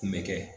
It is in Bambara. Kun bɛ kɛ